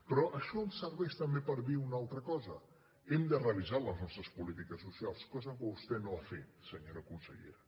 però això em serveix també per dir una altra cosa hem de revisar les nostres polítiques socials cosa que vostè no ha fet senyora consellera